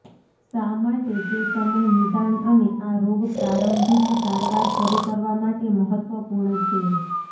શા માટે તે સમય નિદાન અને આ રોગ પ્રારંભિક સારવાર શરૂ કરવા માટે મહત્વપૂર્ણ છે